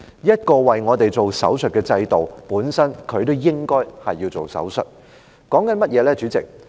這個為市民施手術的制度本身也應該接受手術。